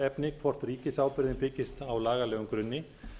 álitaefni hvort ríkisábyrgðin byggist á lagalegum grunni